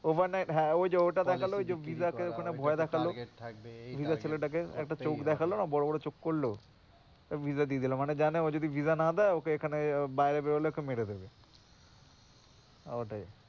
হ্যাঁ ওই যে ওটা দেখালে ভয় দেখাল একটা চোখ দেখানো বড় বড় চোখ করল ভিজা দিয়ে দিল ওকে এখানে বাইরে বেরোলে মেরে দেবে ওকে এখানে বাইরে বেরোলে মেরে দেবে,